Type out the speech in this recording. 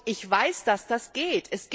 Ich weiß, dass das